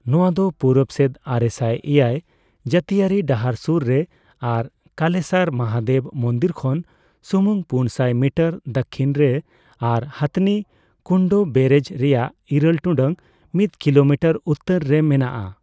ᱱᱚᱣᱟ ᱫᱚ ᱯᱩᱨᱩᱵ ᱥᱮᱫ ᱟᱨᱮᱥᱟᱭ ᱮᱭᱟᱭ ᱡᱟᱹᱛᱤᱭᱟᱹᱨᱤ ᱰᱟᱦᱟᱨ ᱥᱩᱨ ᱨᱮ ᱟᱨ ᱠᱟᱞᱮᱥᱟᱨ ᱢᱟᱦᱟᱫᱮᱵ ᱢᱚᱱᱫᱤᱨ ᱠᱷᱚᱱ ᱥᱩᱢᱩᱝ ᱯᱩᱱᱥᱟᱭ ᱢᱤᱴᱟᱨ ᱫᱟᱠᱠᱷᱤᱱ ᱨᱮ ᱟᱨ ᱦᱚᱛᱷᱱᱤ ᱠᱩᱱᱰᱚ ᱵᱮᱨᱮᱡᱽ ᱨᱮᱭᱟᱜ ᱤᱨᱟᱹᱞ ᱴᱩᱰᱟᱹᱜ ᱢᱤᱛ ᱠᱤᱞᱳᱢᱤᱴᱟᱨ ᱩᱛᱛᱚᱨ ᱨᱮ ᱢᱮᱱᱟᱜᱼᱟ ᱾